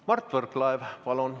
Mart Võrklaev, palun!